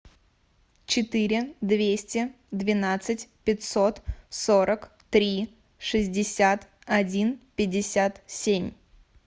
четыре двести двенадцать пятьсот сорок три шестьдесят один пятьдесят семь